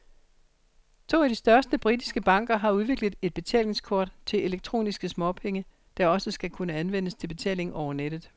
To af de største britiske banker har udviklet et betalingskort til elektroniske småpenge, der også skal kunne anvendes til betaling over nettet.